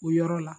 O yɔrɔ la